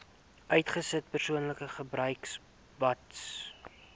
uitgesluit persoonlike gebruiksbates